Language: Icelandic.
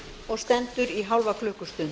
og stendur í hálfa klukkustund